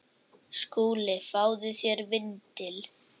SKÚLI: Fáðu þér vindil.